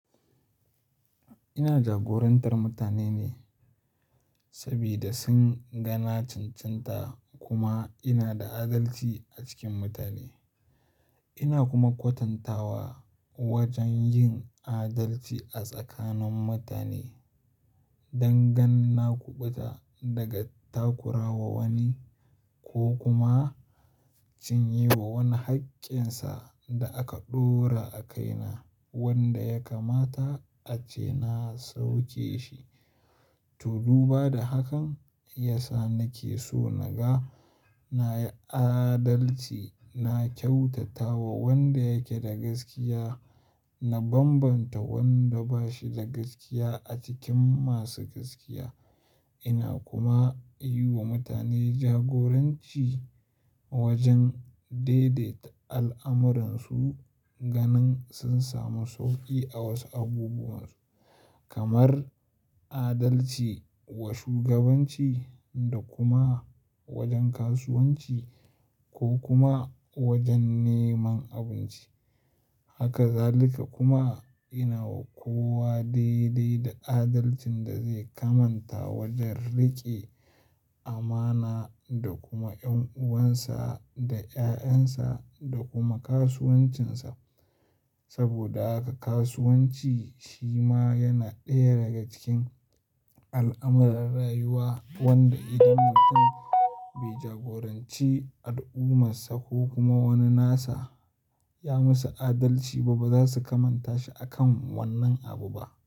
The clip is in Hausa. Ina jagorantar mutane ne saboda sun gana cincinta kuma ina da adalci a cikin mutane. Ina kuma kwatantawa wajen yin adalci a tsakanin mutane don gan na kuɓuta daga takura wa wani ko kuma cinye wa wani haƙƙinsa da aka ɗora a kaina wanda ya kamata ace na sauke shi. To, dubu ba da hakan, iya sa nake so naga na yi adalci, na kyautata wa wanda yake da gaskiya, na bambanta wanda ba shi da gaskiya a cikin masu gaskiya. Ina kuma yi wa mutane jagoranci wajen daidaita al'amuransu ganin sun samu sauƙi a wasu abubuwan su kamar adalci wa shugabanci da kuma wajen kasuwanci ko kuma wajen neman abinci. Haka zalika kuma ina wa kowa daidai da adalcin da zai kamanta wajen riƙe amana da kuma 'yan'uwansa da 'ya'yansa da kuma kasuwancinsa. Saboda haka kasuwanci shi ma yana ɗaya daga cikin al'amuran rayuwa wanda idan mutum bai jagoranci al'ummarsa ko kuma wani nasa ya masa adalci ba, ba za su kamanta shi a kan wannan abu ba.